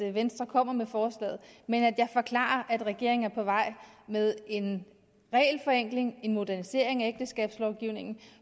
at venstre kommer med forslaget men at jeg forklarer at regeringen er på vej med en regelforenkling en modernisering af ægteskabslovgivningen